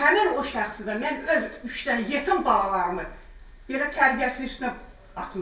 Həmin o şəxsi də mən öz üç dənə yetim balalarımı belə tərbiyəsiz üstünə atmışam.